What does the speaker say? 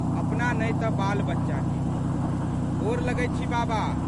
अपना नहि तऽ बालबच्चाके। गोर लगैत छी बाबा!